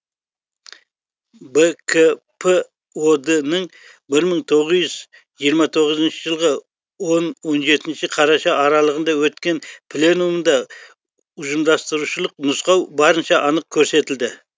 бкп од нің бір мың тоғыз жүз жиырма тоғызыншы жылғы он он жетінші қараша аралығында өткен пленумында ұжымдастырушылық нұсқау барынша анық көрсетілді